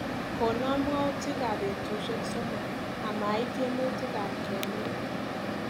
Kona mwautikap betushek somok amait tyemutikaab kemik.